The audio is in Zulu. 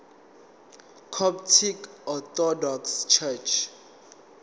coptic orthodox church